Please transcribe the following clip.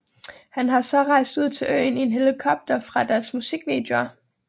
Han har så rejst ud til øen i en helikopter fra deres musikvideoer